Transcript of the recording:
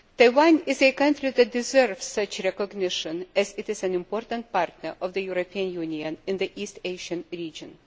Taiwan is a country that deserves such recognition, as it is an important partner of the European Union in the East Asian region.